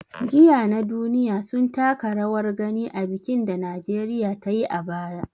Giya na duniya sun taka rawar gani a bikin da Najeriya ta yi a baya.